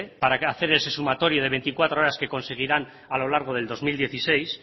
para hacer ese sumatorio de veinticuatro horas que conseguirán a lo largo del dos mil dieciséis